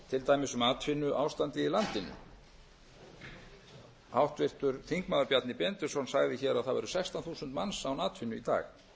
til dæmis um atvinnuástandið í landinu háttvirtur þingmaður bjarni benediktsson sagði hér að það væru sextán þúsund manns án atvinnu í dag